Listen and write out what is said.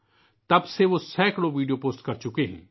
تب سے اب تک وہ سینکڑوں ویڈیو پوسٹ کر چکے ہیں